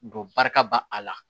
Don barika b'a la